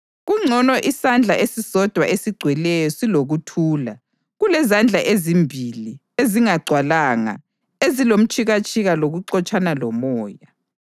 Kungcono isandla esisodwa esigcweleyo silokuthula kulezandla ezimbili ezingagcwalanga ezilomtshikatshika lokuxotshana lomoya.